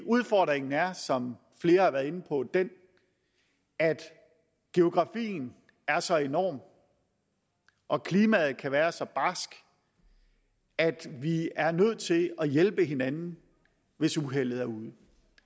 udfordringen er som flere har været inde på den at geografien er så enorm og klimaet kan være så barskt at vi er nødt til at hjælpe hinanden hvis uheldet er ude